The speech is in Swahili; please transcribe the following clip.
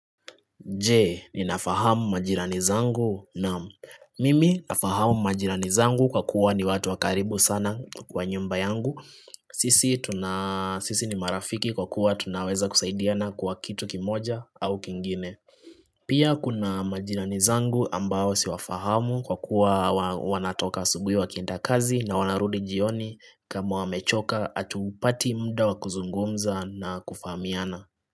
Je, ninafahamu majirani zangu naam mimi nafahamu majirani zangu kwa kuwa ni watu wa karibu sana kwa nyumba yangu. Sisi ni marafiki kwa kuwa tunaweza kusaidiana kwa kitu kimoja au kingine. Pia kuna majirani zangu ambao siwafahamu kwa kuwa wanatoka asubuhi wakienda kazi na wanarudi jioni kama wamechoka hatupati muda wa kuzungumza na kufahamiana.